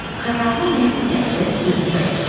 Xəyalına nə isə gəldi, üzünü məclisə tutdu.